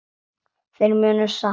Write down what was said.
Þeir munu sakna þín sárt.